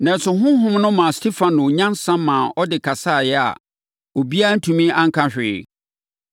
Nanso, Honhom no maa Stefano nyansa maa ɔde kasaeɛ a obiara antumi anka hwee.